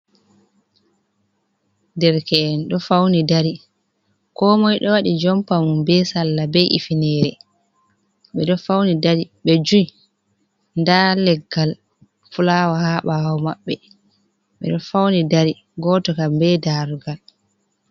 Derke’en ɗo fauni dari ko moi ɗo waɗi jompa mum ɓe salla ɓe hifinere ɓeɗo fauni dari be ji da leggal fulaawa ha ɓawo maɓɓe ɓeɗo fauni dari goto kam be darugal.